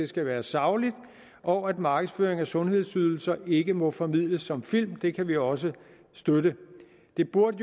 skal være saglig og at markedsføring af sundhedsydelser ikke må formidles som film det kan vi også støtte det burde